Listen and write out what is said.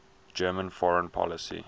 german foreign policy